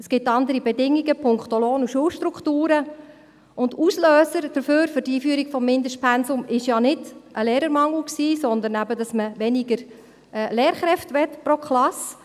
Es gibt andere Bedingungen punkto Lohn und Schulstrukturen, und der Auslöser für die Einführung des Mindestpensums war ja nicht ein Lehrermangel, sondern dass man pro Klasse weniger Lehrkräfte haben wollte.